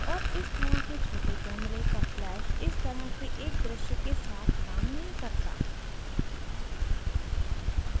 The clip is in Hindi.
और इस तरह के छोटे camera का flash इस तरह के एक दृश्य के साथ काम नहीं करता